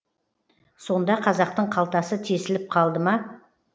сонда қазақтың қалтасы тесіліп қалды ма